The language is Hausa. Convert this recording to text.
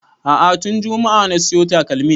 A'a tun juma'a na siyo takalmin